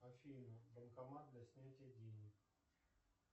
афина банкомат для снятия денег